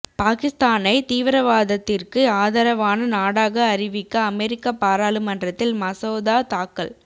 பாகிஸ்தானை தீவிரவாதத்திற்கு ஆதரவான நாடாக அறிவிக்க அமெரிக்க பாராளுமன்றத்தில் மசோதா தாக்கல்